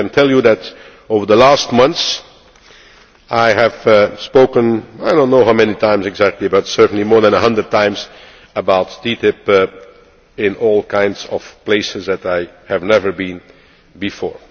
I can tell you that over the last months I have spoken, I do not know how many times exactly but certainly more than 100 times, about TTIP in all kinds of places that I had never been before.